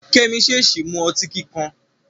Kẹ́mi ṣèèṣì mu ọtí kíkan.